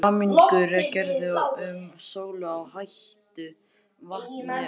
Samningur gerður um sölu á heitu vatni frá